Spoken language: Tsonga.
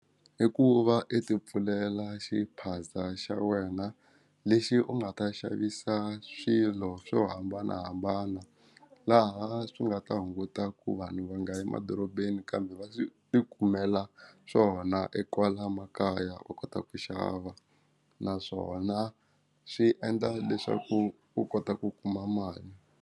I ku va i ti pfulela xiphaza xa wena lexi u nga ta xavisa swilo swo hambanahambana laha swi nga ta hunguta ku vanhu va nga emadorobeni kambe va swi ti kumela swona e kwala makaya u kota ku xava naswona swi endla leswaku u kota ku kuma mali.